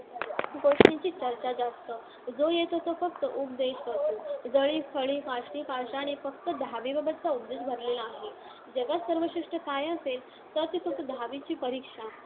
गोष्टीची चर्चा जास्त जो येतो तो फक्त उपदेश करतो. जळी, स्थळी, काष्ठी, पाषाणी फक्त दहावीबाबतचा उपदेश भरलेला आहे. जगात सर्वश्रेष्ठ काय असेल, तर ती फक्त दहावीची परीक्षा!